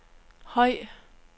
høj